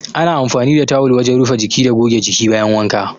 Ana amfani da tawul wajen rufe jiki da goge jiki bayan wanka.